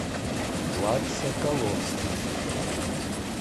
влад соколовский